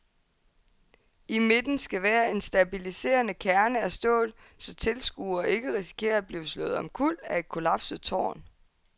I midten skal være en stabiliserende kerne af stål, så tilskuere ikke risikerer at blive slået omkuld af et kollapset tårn.